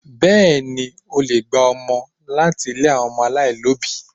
Bẹ́ẹ̀ni, o le gba ọmọ láti ilé àwọn ọmọ aláìlóbìí.